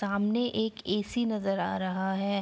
सामने एक ए.सी. नजर आ रहा है।